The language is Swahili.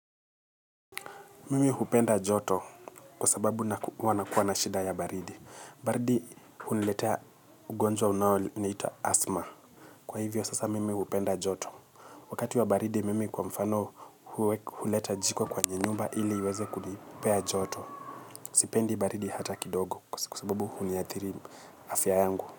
Mimi hupenda joto kwa sababu huwa na kuwa nashida ya baridi. Baridi uniletea ugonjwa unayo ni hita asma. Kwa hivyo sasa mimi hupenda joto. Wakati wa baridi mimi kwa mfano huleta jiko kwenye nyumba ili iweze kunipea joto. Sipendi baridi hata kidogo kwa sababu huniathiri afya yangu.